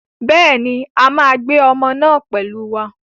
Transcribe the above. Bẹ́ẹ̀ ni, a máa gbé ọmọ náà pẹ̀lú wa.